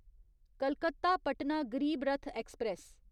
Calcutta Patna Garib Rath express